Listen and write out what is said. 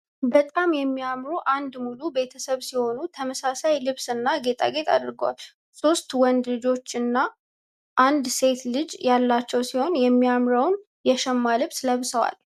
በጣም የሚያምሩ አንድ ሙሉ ቤተሰብ ሲሆኑ ተመሳሳይ ልብስ እና ጌጣጌጥ አድርገዋል ሶስት ወንድ ልጅና አንድ ሴት ልጅ ያላቸው ሲሆን የሚያምረውን የሸማ ልብስ ለብሰዋል።